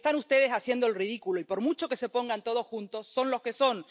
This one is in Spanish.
Están ustedes haciendo el ridículo y, por mucho que se pongan todos juntos, son los que son.